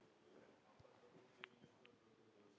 Auk þeirra smærri bílar.